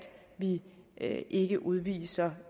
vi ikke udviser